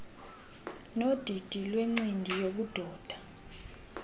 nodidi lwencindi yobudoda